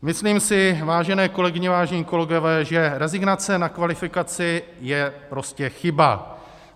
Myslím si, vážené kolegyně, vážení kolegové, že rezignace na kvalifikaci je prostě chyba.